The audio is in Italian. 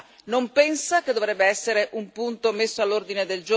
Non pensa che dovrebbe essere un punto messo all'ordine del giorno?